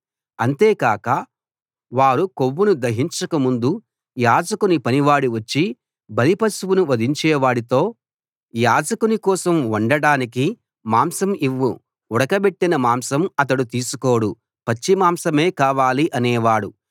అంతేకాక వారు కొవ్వును దహించక ముందు యాజకుని పనివాడు వచ్చి బలిపశువును వధించేవాడితో యాజకుని కోసం వండడానికి మాంసం ఇవ్వు ఉడకబెట్టిన మాంసం అతడు తీసుకోడు పచ్చిమాంసమే కావాలి అనేవాడు